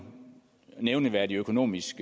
nævneværdig økonomisk